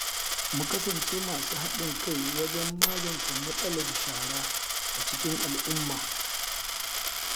Mu kasance masu haɗin kai wajen magance matsalar shara a cikin al’umma.